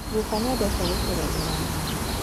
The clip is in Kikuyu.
Guka nĩendete gũtũganĩra ng'ano